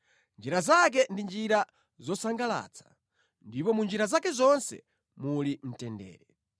Njira zake ndi njira zosangalatsa, ndipo mu njira zake zonse muli mtendere.